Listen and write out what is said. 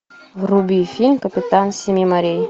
вруби фильм капитан семи морей